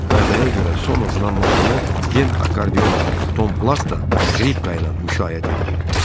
Kardaya görə son oxunan mahnını Den Akkardionla, Tom Plat da Skripka ilə müşayiət eləyirdi.